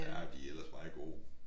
Ja de er ellers meget gode